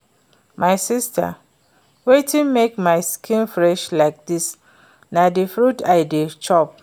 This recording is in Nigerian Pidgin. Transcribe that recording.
My sister, wetin make my skin fresh like dis na the fruit I dey chop